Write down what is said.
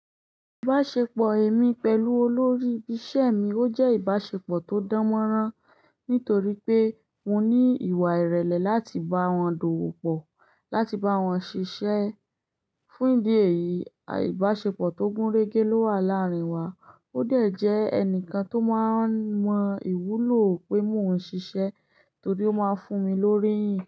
Ìbáṣepọ̀ èmi pẹ̀lú olórí isẹ́ mi ó jẹ́ ìbáṣepọ̀ tó dánmọ́nrán nítorí pé mo ní ìwà ìrẹ̀lẹ̀ láti bá wọn dòwò pọ̀, láti bá wọn ṣiṣẹ́. Fún ìdí èyí, ìbáṣepọ̀ tó gúnrégé ló wà láàrin wa. Ó dẹ̀ jẹ́ ẹnìkan tó máa mọ ìwúlò pé mo ń ṣiṣẹ́ torí ó máa fún mi lórí ìyìn.